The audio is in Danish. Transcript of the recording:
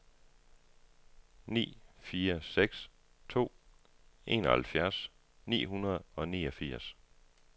ni fire seks to enoghalvfjerds ni hundrede og niogfirs